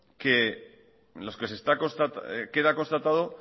en los que queda constatado